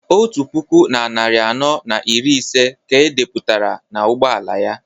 otu puku na narị anọ na iri ise ka e depụtara n'ụgbọ ala ya